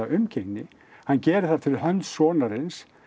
umgengni hann gerir það fyrir hönd sonarins